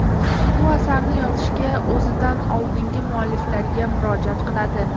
U asarni yozishda o‘zidan oldingi mualliflarga murojaat qiladi.